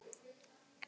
Hvað segirðu?